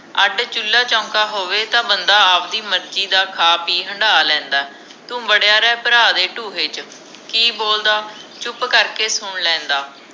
ਅੱਡ ਚੂਲਾ ਚੌਂਕਾ ਹੋਵੇ ਤਾਂ ਬੰਦਾ ਆਵਦੀ ਮਰਜੀ ਦਾ ਖਾ ਪੀ ਹੰਢਾ ਲੈਂਦਾਂ ਤੂੰ ਵਡਿਆ ਰਹਿ ਭਰਾ ਦੇ ਢੂਹੇ ਚ ਕਿ ਬੋਲਦਾ ਚੁੱਪ ਕਰਕੇ ਸੁਣ ਲੈਂਦਾ